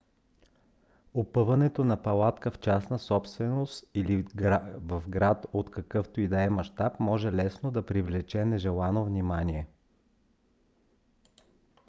опъването на палатка в частна собственост или в град от какъвто и да е мащаб може лесно да привлече нежелано внимание